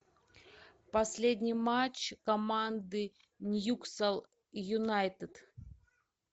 последний матч команды ньюкасл юнайтед